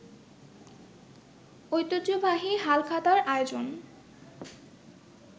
ঐতিহ্যবাহী হালখাতার আয়োজন